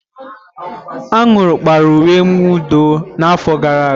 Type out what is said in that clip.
Aṅụrị kpara uwe mwụda m n'afọ gara aga.